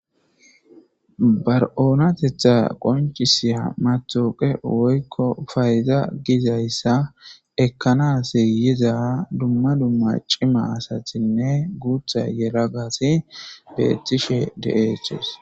Ba oonatetha qoncisiy matooqe woykko fayza gizayssa ekkanas yiza dumma dumma cima asatinne guutha yelagasi beettishe de7eeches.